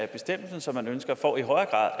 bestemmelsen som man ønsker for i højere